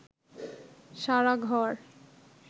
সারা ঘর